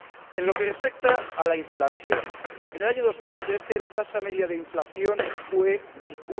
En lo que respecta a la inflación, en el año 2013 la tasa media de inflación fue del